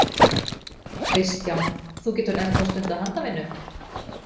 Kristján: Þú getur enn þá stundað handavinnu?